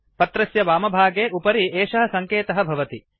पत्रस्य वामभागे उपरि एषः सङ्केतः भवति